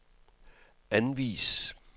anvis